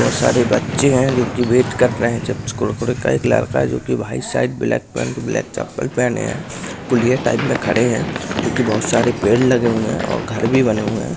बहुत सारे बच्चे है जो की बेट कर रहे हैं चिप्स कुरकुर है एक लरका है जो की white shirt black pant black चप्पल पहने है कुलिया टाइप में खड़े है जो की बहुत सारे पेड़ लगे हुए है और घर भी बने हुए है।